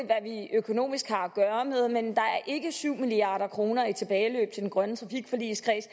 økonomisk har at gøre med men der er ikke syv milliard kroner i tilbageløb til den grønne trafikforligskreds